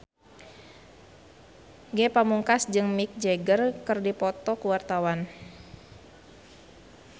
Ge Pamungkas jeung Mick Jagger keur dipoto ku wartawan